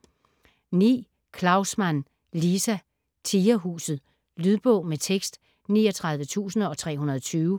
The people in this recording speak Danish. Klaussmann, Liza: Tigerhuset Lydbog med tekst 39320